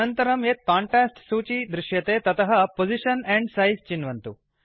अनन्तरं यद् कांटेस्ट् सूचिः दृश्यते ततः पोजिशन एण्ड सिझे चिन्वन्तु